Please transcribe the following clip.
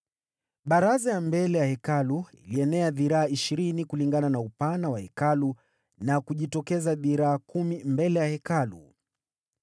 Baraza ya mbele ya Hekalu ilienea dhiraa ishirini kulingana na upana wa Hekalu na kujitokeza dhiraa kumi mbele ya Hekalu.